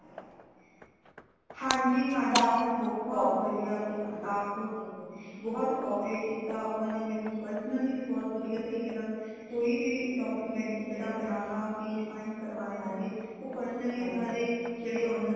ਹਾਂਜੀ ਹਾਂਜੀ mam ਬਹੁਤ ਵਧੀਆ ਸਿਗਾ staff {overlap }ਬਹੁਤ cooperate ਕੀਤਾ ਉਨ੍ਹਾਂਨੇ ਮੈਨੂੰ personally ਵੀ ਬਹੁਤ ਵਧੀਆ ਤਰੀਕੇ ਨਾਲ ਕੋਈ ਵੀ document ਜੇੜਾ ਬਨਾਣਾ ਸੀ sign ਕਰਵਾਣੇ ਸੀਗੇ ਉਹ personally ਓਨਾ ਦੇ ਜੇੜੇ owner